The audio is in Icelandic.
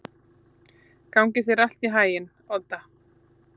Gangi þér allt í haginn, Odda.